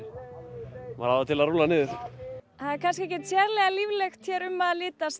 maður á það til að rúlla niður það er kannski ekkert sérlega líflegt um að litast